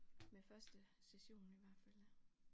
Med første session i hvert fald